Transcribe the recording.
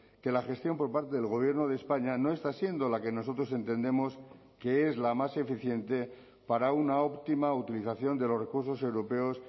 que la gestión por parte del gobierno de españa no está siendo la que nosotros entendemos que es la más eficiente para una óptima utilización de los recursos europeos